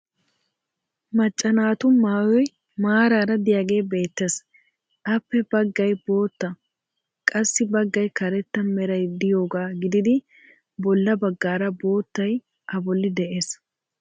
macca naatu maayoy maarara diyagee beetees. appe bagay bootta qassi baggay karetta meray diyogaa gididi bola bagaara boottay a bolli de'ees.